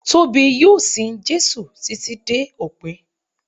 Tóbi yóò sin Jésù títí dé òpin.